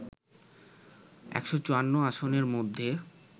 ১৫৪ আসনের মধ্যে